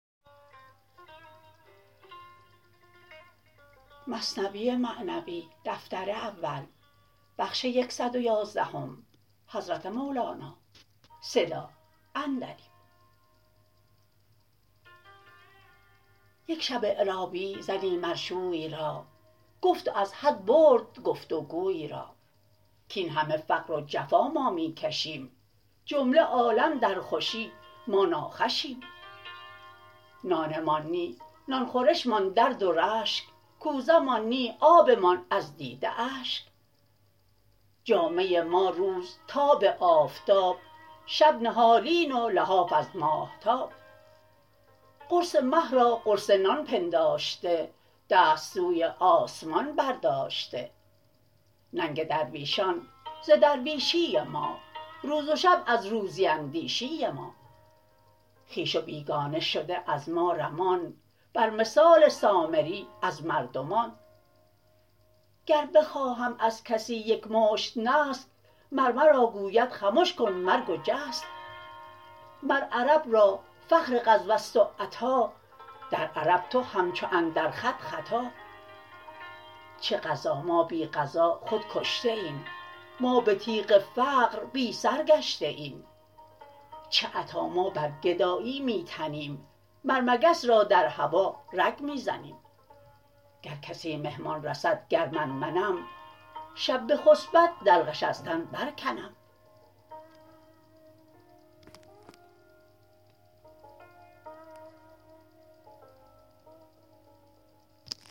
یک شب اعرابی زنی مر شوی را گفت و از حد برد گفت و گوی را کین همه فقر و جفا ما می کشیم جمله عالم در خوشی ما ناخوشیم نان مان نه نان خورش مان درد و رشک کوزه مان نه آب مان از دیده اشک جامه ما روز تاب آفتاب شب نهالین و لحاف از ماهتاب قرص مه را قرص نان پنداشته دست سوی آسمان برداشته ننگ درویشان ز درویشی ما روز شب از روزی اندیشی ما خویش و بیگانه شده از ما رمان بر مثال سامری از مردمان گر بخواهم از کسی یک مشت نسک مر مرا گوید خمش کن مرگ و جسک مر عرب را فخر غزوست و عطا در عرب تو همچو اندر خط خطا چه غزا ما بی غزا خود کشته ایم ما به تیغ فقر بی سر گشته ایم چه عطا ما بر گدایی می تنیم مر مگس را در هوا رگ می زنیم گر کسی مهمان رسد گر من منم شب بخسپد دلقش از تن بر کنم